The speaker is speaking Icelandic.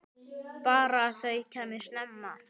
Bara að þau kæmu snemma.